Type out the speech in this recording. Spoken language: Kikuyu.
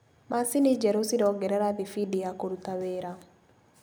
Macini njerũ cirongerera thibindi ya kũruta wĩra.